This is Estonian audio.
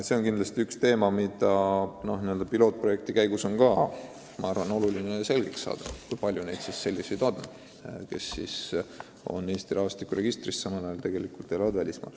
See on kindlasti üks pilootprojekti eesmärk: oluline on selgeks saada, kui palju on inimesi, kes on Eesti rahvastikuregistris, aga tegelikult elavad välismaal.